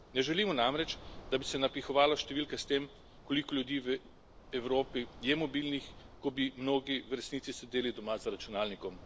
Ne želimo namreč, da bi se napihovalo številke s tem, koliko ljudi v Evropi je mobilnih, ko bi mnogi v resnici sedeli doma za računalnikom.